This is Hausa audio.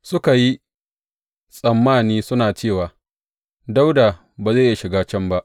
Suka yi tsammani suna cewa, Dawuda ba zai iya shiga can ba.